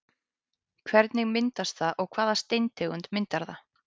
Hvernig myndast það og hvaða steintegund myndar það?